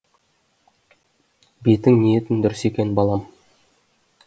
бетің ниетің дұрыс екен балам